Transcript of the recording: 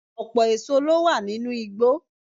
Ọpọ̀ èso ló wà nínú igbó